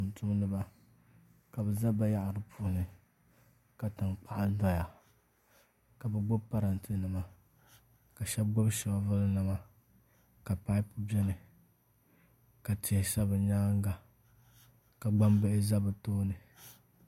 Tumtumdiba ka bi ʒɛ bayaɣari puuni ka tankpaɣu doya ka bi gbubi parantɛ nima ka shab gbubi shoovuli nima ka paip biɛni ka tihi sa bi nyaanga ka gbambili ʒɛ bi tooni